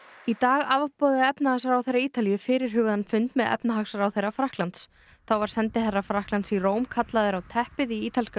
í dag afboðaði efnahagsráðherra Ítalíu fyrirhugaðan fund með efnahagsráðherra Frakklands þá var sendiherra Frakklands í Róm kallaður á teppið í ítalska